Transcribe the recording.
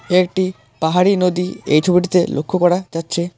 একটি পাহাড়ি নদী এই ছবিটিতে লক্ষ্য করা যাচ্ছে।